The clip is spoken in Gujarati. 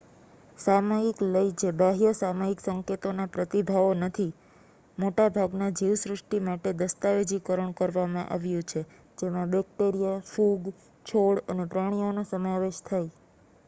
સામયિક લય જે બાહ્ય સામયિક સંકેતોના પ્રતિભાવો નથી મોટા ભાગના જીવસૃષ્ટિમાટે દસ્તાવેજીકરણ કરવામાં આવ્યું છે જેમાં બેક્ટેરિયા ફૂગ છોડ અને પ્રાણીઓનો સમાવેશ થાય